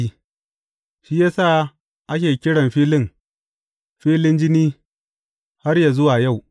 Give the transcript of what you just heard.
Shi ya sa ake kiran filin, Filin Jini har yă zuwa yau.